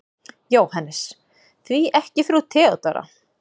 JÓHANNES: Því ekki frú Theodóra?